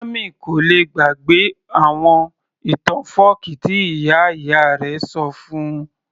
Sammy kò lè gbàgbé àwọn ìtàn fọ́ọ̀kí tí ìyá ìyá rẹ̀ ṣọ fún -un